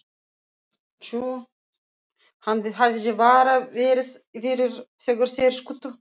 Hann hefði bara verið fyrir þegar þeir skutu.